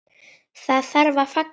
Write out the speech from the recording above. Það þarf að fagna því.